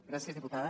gràcies diputada